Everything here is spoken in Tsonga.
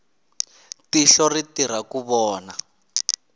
tihlo ri tirha ku vona